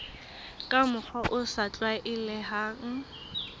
ka mokgwa o sa tlwaelehang